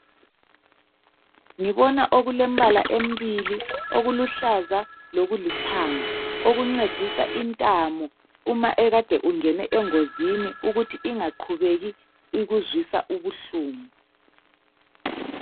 Ngibona okulembala emibili, okuluhlaza lokulithanga okuncedisa intamo uma ukade ungene engozini ukuthi ingaqhubeki ikuzwisa ubuhlungu.